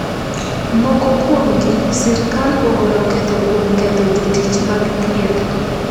Moko kuomgi, sirkal ogolo ketho kuom ketho jotich mag thieth.